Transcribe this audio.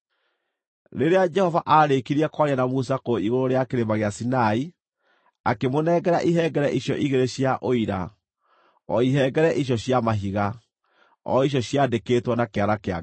Rĩrĩa Jehova aarĩkirie kwaria na Musa kũu igũrũ rĩa Kĩrĩma gĩa Sinai, akĩmũnengera ihengere icio igĩrĩ cia Ũira, o ihengere icio cia mahiga, o icio ciandĩkĩtwo na kĩara kĩa Ngai.